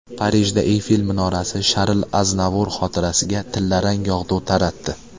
Parijda Eyfel minorasi Sharl Aznavur xotirasiga tillarang yog‘du taratdi.